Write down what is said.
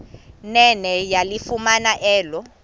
nene yalifumana elo